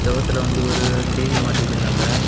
சுவத்துல வந்து ஓரு டி_வி மாட்டி வச்சிருக்காங்க.